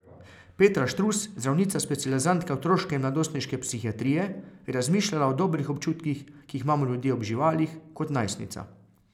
Petra Štrus, zdravnica specializantka otroške in mladostniške psihiatrije, je razmišljala o dobrih občutkih, ki jih imamo ljudje ob živalih, kot najstnica.